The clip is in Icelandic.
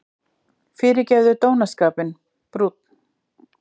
Fyrirgefðu dónaskapinn: brúnn.